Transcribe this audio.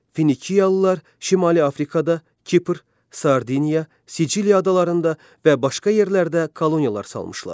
Finiyalılar Şimali Afrikada, Kipr, Sardinya, Siciliya adalarında və başqa yerlərdə koloniyalar salmışlar.